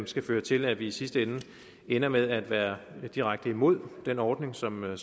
skal føre til at vi i sidste ende ender med at være direkte imod den ordning som er